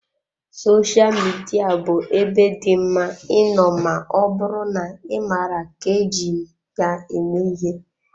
Sosha Midia bụ ebe dị mma ịnọ ma ọ bụrụ na ị maara ka eji ya eme ihe.